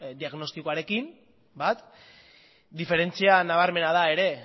diagnostikoarekin bat diferentzian nabarmena da ere